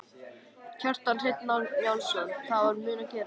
Kjartan Hreinn Njálsson: Það er það mun gerast?